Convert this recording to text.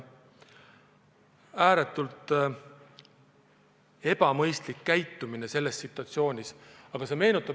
Ääretult ebamõistlik käitumine sellises situatsioonis.